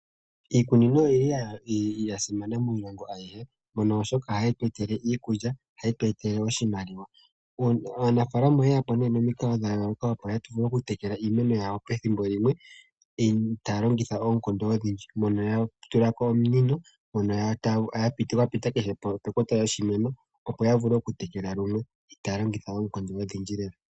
Iikunino oyili yasimana miilongo aihe mbyono hayi tu etele iikulya, ohayi tu etele iimaliwa. Aanafaalama oyeyapo momikalo dhayooloka opo yavule okutekela iimeno yawo pethimbo limwe , taya longitha oonkondo odhindji. Oya tu la po ominino dhapita kehe pekota lyoshimeno opo dhivule okutekela limwe.